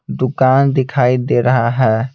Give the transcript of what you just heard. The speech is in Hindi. दुकान दिखाई दे रहा है।